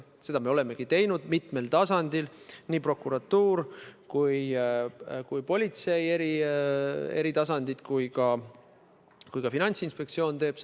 Seda me olemegi teinud mitmel tasandil: nii prokuratuuris, politsei eri tasanditel kui ka Finantsinspektsioonis.